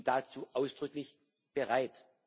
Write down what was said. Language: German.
Ich bin dazu ausdrücklich bereit.